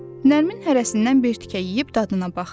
Nərmin hərəsindən bir tikə yeyib dadına baxdı.